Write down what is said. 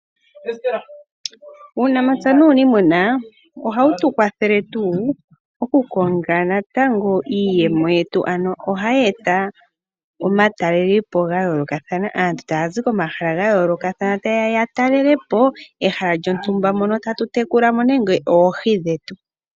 Uunamapya nu niimuna ohawu tu kwathelele tu okukonga natango iiyemo yetu, ano ohayi eta omatalele po ga yolokathana, aanntu tazi komahala ga yoloka ta yeya ya talele po ehala lyontumba mono tatu tekula mo nenge oohi dhetu.